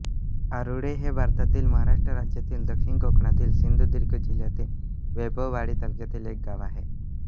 आरूळे हे भारतातील महाराष्ट्र राज्यातील दक्षिण कोकणातील सिंधुदुर्ग जिल्ह्यातील वैभववाडी तालुक्यातील एक गाव आहे